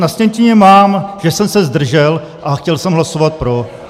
Na sjetině mám, že jsem se zdržel, a chtěl jsem hlasovat pro.